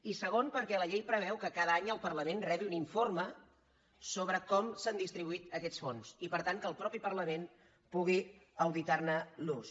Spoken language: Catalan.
i segona perquè la llei preveu que cada any el parlament rebi un informe sobre com s’han distribuït aquests fons i per tant que el mateix parlament pugui auditar ne l’ús